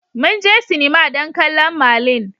Mun je sinima don kallon Merlin.